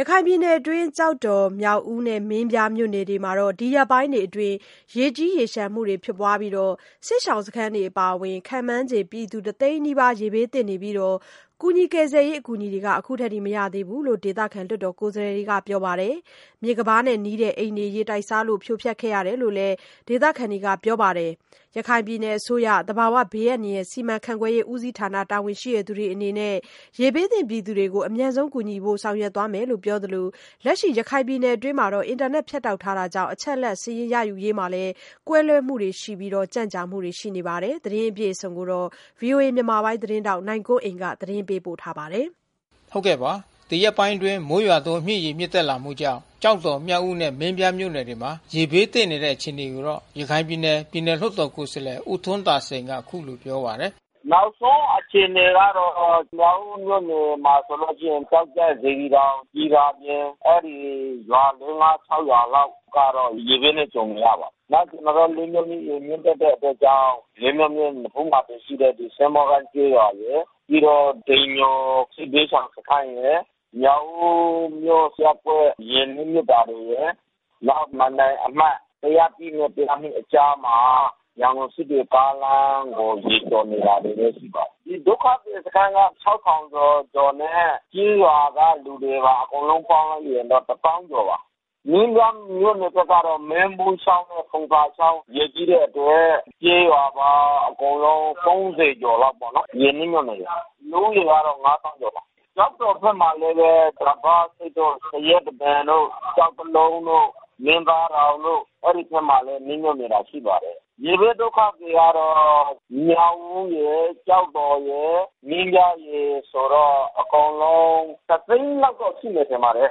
ရခိုင်ပြည်နယ်အတွင်း ကျောက်တော်၊ မြောက်ဦးနဲ့ မင်းပြားမြို့နယ်တွေမှာ ဒီရက်ပိုင်းတွေအတွင်း ရေကြီးရေလျှံမှုတွေ ဖြစ်ပွားနေပြီး စစ်ရှောင်စခန်းအပါဝင် ခန့်မှန်းခြေ ပြည်သူ တသိန်းနီးပါး ရေဘေးသင့်နေပြီးတော့ ကယ်ဆယ်ရေး အကူ ညီတွေ မရရှိသေးဘူးလို့ ဒေသခံ လွှတ်တော်ကိုယ်စားလှယ်တွေက ပြောပါတယ်။ မြစ်ကမ်းပါးတဲ့ နီးတဲ့အိမ်တွေ ရေတိုက်စားလို့ ဖြိုဖျက်ရတယ်လို့လည်း ဒေသခံတွေကပြောပါတယ်။ ရခိုင်ပြည်နယ် အစိုးရ၊ သဘာဝဘေးအန္တရာယ် စီမံခန့်ခွဲရေးဦးစီးဌာန တာဝန်ရှိသူတွေအနေနဲ့ ရေဘေးသင့် ပြည်သူတွေကို အမြန်ဆုံး ကူညီဖို့ ဆောင်ရွက်သွားမယ်လို့ ပြောသလို လက်ရှိ ရခိုင်ပြည်နယ်အတွင်း အင်တာနက် ဖြတ်တောက်ထားမှုကြောင့် အချက်အလက် စာရင်းရယူရေးမှာ ကွဲလွှဲမှုတွေ ရှိနေပြီး ကြန့်ကြာမှုတွေ ရှိနေတယ်လို့ ပြောပါတယ်။ ဗွီအိုအေမြန်မာပိုင်းသတင်းထောက် နိုင်ကွန်းအိန်ကနေ ဆက်သွယ်မေးမြန်း သတင်းပေးပို့ထားပါတယ်။ ဒီရက်ပိုင်းအတွင်း မိုးရွာသွန်း မြစ်ရေ မြင့်တက်လာမှုကြောင့် ကျောက်တော်၊ မြောက်ဦးနဲ့ မင်းပြားမြို့နယ်တွေမှာ ရေဘေးသင့်နေတဲ့ အခြေအနေကိုတော့ ရခိုင်ပြည်နယ် ပြည်နယ်လွှတ်တော်ကိုယ်စားလှယ် ဦးထွန်းသာစိန်က အခုလိုပြောပါတယ်။ “နောက်ဆုံး အခြေအနေကတော့ မြောက်ဦးမြို့နယ်မှာဆိုရင် ကျောက်ကြပ်၊ စေတီတောင်၊ စည်သာပြင်၊ အဲဒီရွာ လေး၊ ငါး၊ ခြောက် ရွာလောက်ကတော့ ရေဘေးနဲ့ ကြုံနေရပါတယ်။ နောက်ကျနော်တို့ လေးမြို့မြစ် ရေမြင့်တက်တဲ့ အတွက်ကြောင့် လေးမြို့မြစ်နဖူးမှာ တည်ရှိတဲ့ ဒီစင်းဘောကိုင်း ကျေးရွာရယ်။ ပြီးတော့ တိမ်ညိုစစ်ဘေးရှောင် စခန်းရယ်။ မြောက်ဦးမြို့ ရပ်ကွက် ရေနစ်မြှုပ်တာတွေရယ်။ နောက်မိုင်တိုင် အမှတ် ၁၀၁ နဲ့ ၁၀၂ အကြားမှာ ရန်ကုန်စစ်တွေ ကားလမ်းမှာ ရေကျော်နေတာတွေလည်း ရှိပါတယ်။ ဒီဒုက္ခသည်စခန်းက ၆,၀၀၀ ကျော်ကျော်နဲ့ ကျေးရွာကလူတွေနဲ့ အကုန်လုံးပေါင်း လိုက်ရင်တော့ ၁၀,၀၀၀ ကျော်ပါ။ မင်းပြားမြို့နယ်ဘက်ကတော့ မင်းဖူးချောင်းနဲ့ ဖုံသာချောင်းရေကြီးတဲ့အတွက် ကျေးရွာပေါင်း အကုန်လုံး ၃၀ ကျော် လောက်ပေါ့နော် ရေနစ်မြှုပ်နေတယ်။ လူဦးရေကတော့ ၅၀,၀၀၀ ကျော်ပါ။ ကျောက်တော်ဘက်မှာလည်းပဲ စပါးဆိပ်တို့၊ သရက်တပင်တို့၊ ကျောက်တလုံးတို့၊ မင်းသားတောင်တို့ အဲဒီဘက်မှာလည်း နစ်မြှုပ်နေတာ ရှိပါတယ်။ ရေဘေးဒုက္ခသည်ကတော့ မြောက်ဦးရယ်၊ ကျောက်တော်ရယ်၊ မင်းပြားရယ်ဆိုတော့ အကုန်လုံးက တသိန်းလောက်တော့ ရှိမယ် ထင်ပါတယ်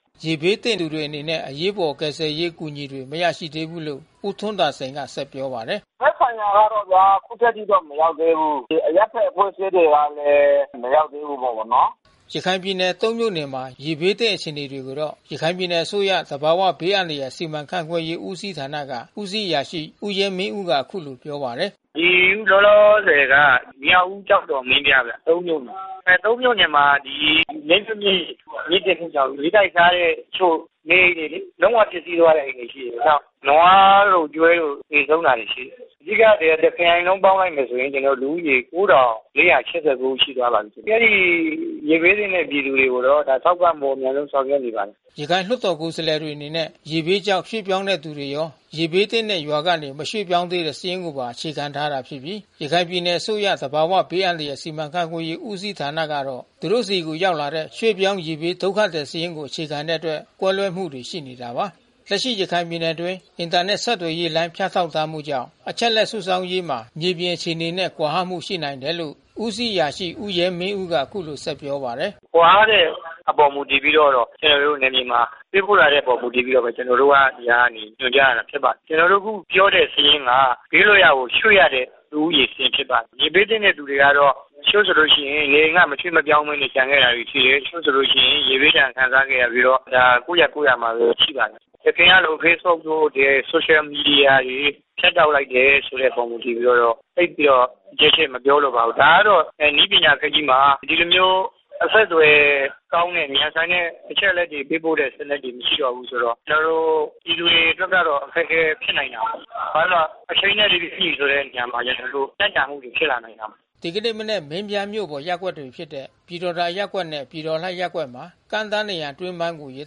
။” ရေဘေးသင့်သူတွေအနေနဲ့ အရေးပေါ် ကယ်ဆယ်ရေး အကူညီတွေ မရရှိသေးဘူးလို့ ဦးထွန်းသာစိန်က ဆက်ပြောပါတယ်။ “သက်ဆိုင်ရာကတော့ဗျာ အခုထက်ထိ မရောက်သေးဘူး။ အရပ်ဘက် အဖွဲ့အစည်းတွေကလည်း မရောက်သေးဘူးပေါ့နော်။” ရခိုင်ပြည်နယ် သုံး မြို့နယ်မှာ ရေဘေးသင့် အခြေအနေကိုတော့ ရခိုင်ပြည်နယ်အစိုးရ၊ သဘာဝ ဘေးအန္တရာယ် စီမံခန့်ခွဲရေးဦးစီးဌာနက ဦးစီးအရာရှိ ဦးရဲမင်းဦးက အခုလိုပြောပါတယ်။ “ဒီလောလောဆယ်က မြောက်ဦး၊ ကျောက်တော်၊ မင်းပြားဗျ သုံး မြို့နယ်။ သုံး မြို့နယ်မှာ လေးမြို့မြစ်ရေ မြင့်တက်မှုကြောင့် ရေတိုက်စားလို့ တချို့နေအိမ်တွေလေ။ လုံး၀ ပျက်စီးသွားတဲ့ အိမ်တွေ ရှိတယ်။ နောက် နွားတို့၊ ကျွဲတို့ သေဆုံးတာတွေလည်း ရှိတယ်။ အဓိက တခရိုင်လုံးပေါင်းလိုက်မယ်ဆိုလို့ရှိရင် ကျနော်တို့ လူဦးရေ ၉,၄၈၉ ဦး ရှိသွားပါပြီး။ အဲဒီရေဘေးသင့်တဲ့ ပြည်သူတွေကိုတော့ ထောက်ပံ့ဖို့ အမြန်ဆုံး ဆောင်ရွက်နေပါတယ်။” ရခိုင်လွှတ်တော် ကိုယ်စားလှယ်တွေအနေနဲ့ ရေဘေးကြောင့် ရွှေ့ပြောင်းတဲ့ သူတွေရော ရေဘေးသင့်တဲ့ ရွာကနေ မရွှေ့ပြောင်းသေးတဲ့ စာရင်းကို အခြေခံထားတာဖြစ်ပြီး ရခိုင်ပြည်နယ်အစိုးရ၊ သဘာဝဘေးအန္တရာယ် စီမံခန့်ခွဲရေးဦးစီးဌာနကတော့ သူတို့ဆီရောက်လာတဲ့ ရွှေ့ပြောင်း ရေဘေးဒုက္ခသည် စာရင်းကိုအခြေခံတဲ့အတွက် ကွဲလွှဲမှုတွေ ရှိနေတာပါ။ လက်ရှိရခိုင်ပြည်နယ်အတွင်း အင်တာနက် ဆက်သွယ်ရေးလိုင်း ဖြတ်တောက်ထားမှုကြောင့် အချက်အလက်စုဆောင်းရေးမှာ မြေပြင် အခြေအနေနဲ့ ကွာဟမှုရှိနေနိုင်တယ်လို့ ဦးစီးအရာရှိ ဦးရဲမင်းဦးက အခုလိုပြောပါတယ်။ “ကွာဟတဲ့အပေါ် မူတည်ပြီးတော ကျနော်တို့ နယ်မြေမှာ ပေးပို့လာတဲ့အပေါ် မူတည်ပြီးမှပဲ ကျနော်တို့က ဒီကနေ ညွှန်ကြားရတာ ဖြစ်ပါတယ်။ ကျနော်တို့ အခုပြောတဲ့ စာရင်းက ဘေးလွတ်ရာကို ရွှေ့ရတဲ့ လူဦးရေစာရင်း ဖြစ်ပါတယ်။ ရေဘေးသင့်တဲ့ သူတွေကတော့ တချို့ဆိုလို့ရှိရင် နေအိမ်ကနေ မရွှေ့မပြောင်းဘဲ ကျန်ခဲ့တာတွေလည်း ရှိတယ်။ တချို့ဆိုရင် ရေဘေးဒဏ် ခံစားရပြီးတော့ ကိုယ့်ရပ်ကိုယ့်ရွာမှာပဲ ရှိပါတယ်။ ယခင်ကလို Facebook တို့ ဆိုရှယ်မီဒီယာတွေ ဖြတ်တောက်လိုက်တယ်ဆိုတဲ့အပေါ် မူတည်ပြီးတော့ သိပ်ပြီးတော့ အကျယ်ချဲ့ မပြောလိုပါဘူး။ ဒါကတော့ နည်းပညာ ခေတ်ကြီးမှာ ဒီလိုမျိုး အဆက်အသွယ်ကောင်းတဲ့ မြန်ဆန်တဲ့ အချက်အလက်တွေ ပေးပို့တဲ့ စနစ်တွေ မရှိတော့ဘူးဆိုတော့ ကျနော်တို့ ပြည်သူတွေအတွက်ကတော့ အခက်ခဲဖြစ်နိုင်တာပေါ့။ ဘာလဲဆိုတော့အချိန်နဲ့ တပြေးညီဆိုတဲ့ နေရာမှာလည်း အခုကြန့်ကြာမှုတွေ ဖြစ်လာနိုင်တာပေါ့။” ဒီနေ့မနက် မင်းပြားမြို့ပေါ် ရပ်ကွက်တွေဖြစ်တဲ့ ပြည်တော်သာရပ်ကွက်နဲ့ ပြည်တော်လှရပ်ကွက်မှာ ကမ်းတား နံရံအတွင်းပိုင်းကို ရေ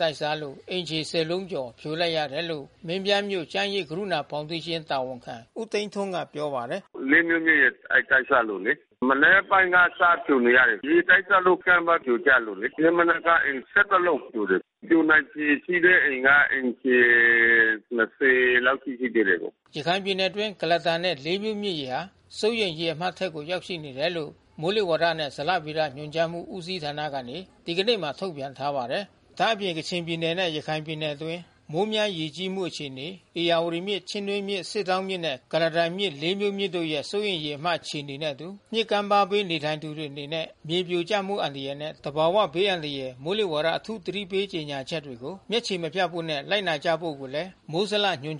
တိုက်စားလို့ အိမ်ခြေ ၁၀ လုံးကျော် ဖြိုလိုက်ရတယ်လို့ မင်းပြားမြို့ကျန်းရိပ် ကရုဏာဖေါင်ဒေးရှင်း တာဝန်ခံဦးထွန်းသိန်း ပြောပါတယ်။ “လေးမြို့မြစ်ရေ တိုက်စားလို့လေ။ မနက်ပိုင်းက စဖြိုနေရတယ်။ ရေတိုက်စားလို့ ကမ်းပါး ပြိုကျလို့လေ။ ဒီနေ့မနက် ကအိမ် ၁၁ လုံးဖြိုတယ်။ ပြိုနိုင်ခြေရှိတဲ့အိမ်က အိမ်ခြေ ၂၀ လောက်ရှိသေးတယ်ဗျ။” ရခိုင်ပြည်နယ်အတွင်း ကုလားတန်နဲ့လေးမြို့မြစ်ရေဟာ စိုးရိမ်ရေမှတ်အထက်ကို ရောက်ရှိနေတယ်လို့ မိုးလေဝသနှင့် ဇလဗေဒညွှန်ကြားမှု ဦးစီးဌာနမှ ဒီကနေ့မှာ ထုတ်ပြန်ထားပါတယ်။ ဒါ့အပြင် ကချင်ပြည်နယ်နဲ့ ရခိုင်ပြည်နယ်တွင်း မိုးများရေကြီးမှု အခြေအနေ၊ ဧရာဝတီမြစ်၊ ချင်းတွင်းမြစ်၊ စစ်တောင်း မြစ်နဲ့ ကုလားတန်မြစ် လေးမြို့မြစ်တို့ရဲ့ စိုးရိမ်ရေမှတ် အခြေအနေနဲ့အတူူ မြစ်ကမ်းပါးဘေး နေထိုင်သူတွေအနေနဲ့ မြေပြိုကျမှု အန္တရာယ်နဲ့ သဘာဝဘေး အန္တရာယ် မိုးလေဝသအထူး သတိပေးကြေညာချက်တွေကို မျက်ခြေမပြတ် ဖို့နဲ့ လိုက်နာကြဖို့ကိုလည်း မိုးဇလညွှန်